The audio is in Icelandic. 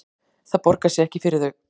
Það borgar sig ekki fyrir þau